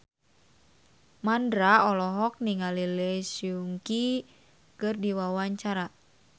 Mandra olohok ningali Lee Seung Gi keur diwawancara